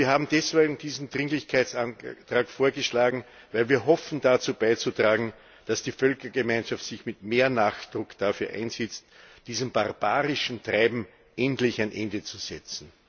Wir haben diesen Dringlichkeitsantrag vorgeschlagen, weil wir hoffen, dazu beizutragen, dass die Völkergemeinschaft sich mit mehr Nachdruck dafür einsetzt, diesem barbarischen Treiben endlich ein Ende zu setzen.